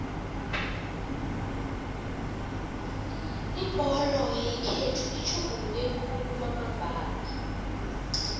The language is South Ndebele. ibholo yekhethu itjhuguluke khulu kwamambala